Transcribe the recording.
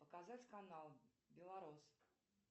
показать канал белорос